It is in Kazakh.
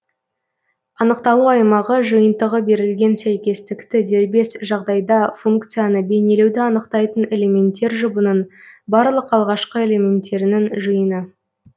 анықталу аймағы жиынтығы берілген сәйкестікті дербес жағдайда функцияны бейнелеуді анықтайтын элементтер жұбының барлық алғашқы элементтерінің жиыны